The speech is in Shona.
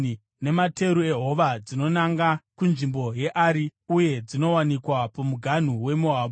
nemateru ehova dzinonanga kunzvimbo yeAri uye dzinowanikwa pamuganhu weMoabhu.”